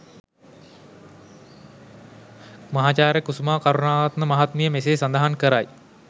මහාචාර්ය කුසුමා කරුණාරත්න මහත්මිය මෙසේ සඳහන් කරයි.